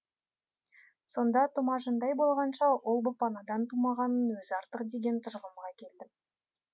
сонда тұмажандай болғанша ұл боп анадан тумағанның өзі артық деген тұжырымға келдім